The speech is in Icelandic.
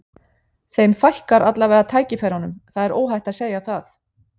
Þeim fækkar allavega tækifærunum, það er óhætt að segja það.